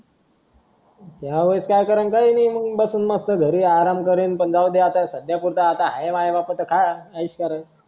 ह्या वेळेस काय कारण काय नाही घरी बसून मस्त अराम करेल सध्या जाऊदे आहे माझ्या बापाचं खा ऐश करल